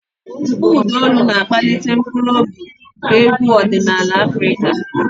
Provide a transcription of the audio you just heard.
Mkpọ ụda olu na-akpali mkpụrụ obi nke egwu ọdịnala Afrika.